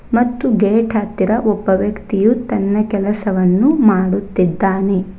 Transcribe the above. ಮತ್ತು ಗೇಟ್ ಹತ್ತಿರ ಒಬ್ಬ ವ್ಯಕ್ತಿಯು ತನ್ನ ಕೆಲಸವನ್ನು ಮಾಡುತ್ತಿದ್ದಾನೆ.